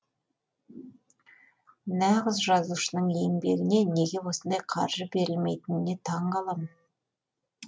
нағыз жазушының еңбегіне неге осындай қаржы берілмейтініне таң қаламын